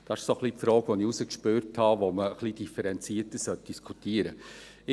– Dies ist die Frage, die man, wie ich herausgespürt habe, differenzierter diskutieren sollte.